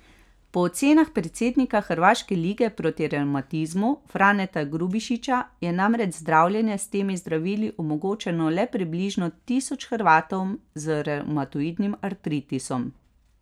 Po ocenah predsednika Hrvaške lige proti revmatizmu Franeta Grubišića je namreč zdravljenje s temi zdravili omogočeno le približno tisoč Hrvatom z revmatoidnim artritisom.